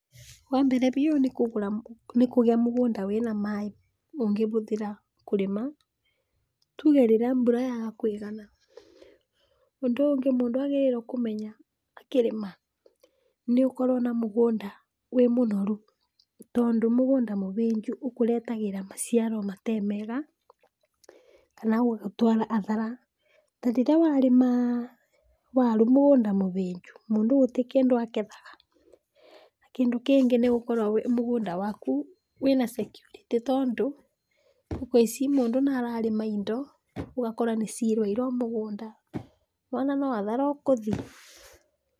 Wa mbere biũ, nĩ kũgĩa mũgũnda wĩna maĩ ũngĩhũthĩra kũrĩma, tuge rĩrĩa mbũra yaga kũigana, ũndũ ũngĩ mũndũ agĩrĩirwo kũmenya akĩrĩma, nĩ ũkorwe na mũgũnda wĩ mũnoru, tondũ mũgũnda mũhĩnju ũkũretagĩra maciaromatemega kana gũgũtwara athara. Ta rĩrĩa warĩma waru mũgũnda mũhĩnju mũndũ gũtĩkĩndũ arĩmaga. Na kĩndũ kĩngĩ nĩ gũkorwo wĩ mũgũnda waku wĩna cekurĩtĩ tondũ thukũ ici mũndũ nĩ arĩma indo ũgakora nĩciirwe iro mũgũnda nĩ wona no hathara wĩkũthi.